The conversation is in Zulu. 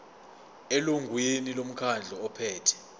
elungwini lomkhandlu ophethe